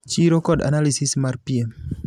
Chiro kod analysis mar piem.